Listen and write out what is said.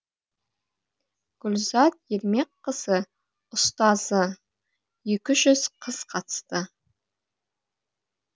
гүлзат ермекқызы ұстазы екі жүз қыз қатысты